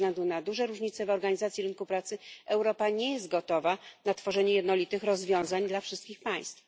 Ze względu na duże różnice w organizacji rynku pracy Europa nie jest gotowa na tworzenie jednolitych rozwiązań dla wszystkich państw.